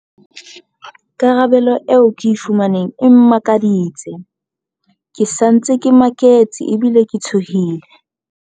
"Karabelo eo ke e fumaneng e mmakaditse. Ke sa ntse ke maketse ebile ke tshohile."